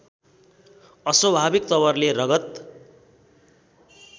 अस्वभाविक तवरले रगत